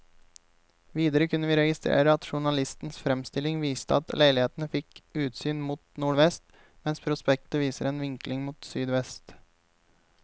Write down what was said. Videre kunne vi registrere at journalistens fremstilling viste at leilighetene fikk utsyn mot nordvest, mens prospektet viser en vinkling mot sydvest.